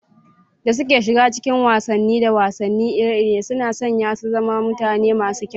da suke shiga cikin wasanni da wasanni iri-iri, suna sanya su zama mutane masu kyau.